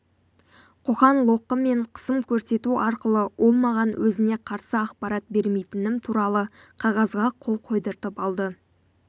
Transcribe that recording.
қоқан-лоққы мен қысым көрсету арқылы ол маған өзіне қарсы ақпарат бермейтінім туралы қағазға қол қойдыртып алды